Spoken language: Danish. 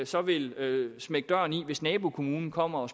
så vil smække døren i hvis nabokommunen kommer og